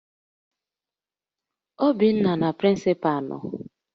Obinna na prịncịpalụ nọ